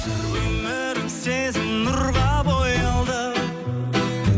өмірім сезім нұрға боялды